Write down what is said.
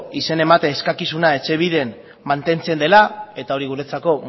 izen emate eskakizuna etxebiden mantentzen dela eta hori guretzako